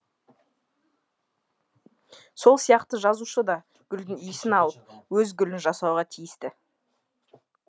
сол сияқты жазушы да гүлдің иісін алып өз гүлін жасауға тиісті